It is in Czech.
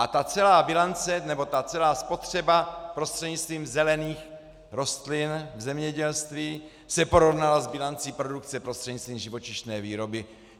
A ta celá bilance, nebo ta celá spotřeba prostřednictvím zelených rostlin v zemědělství, se porovnala s bilancí produkce prostřednictví živočišné výroby.